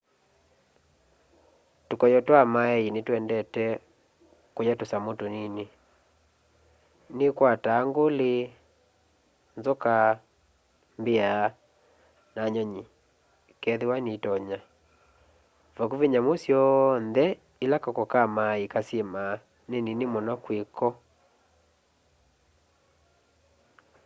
tukoyo twa maei ni twendete kuya tusamu tunini nikwataa nguli nzoka mbia na nyunyi kethiwa nitonya vakuvi nyamu syoonthe ila kako ka maei kasyimaa ni nini muno kwi ko